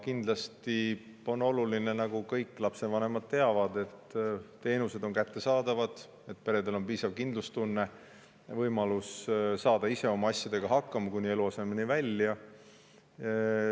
Kindlasti on oluline – nagu kõik lapsevanemad teavad –, et teenused oleksid kättesaadavad, et peredel oleks piisav kindlustunne ja võimalus oma asjadega ise hakkama saada, kuni eluasemeni välja.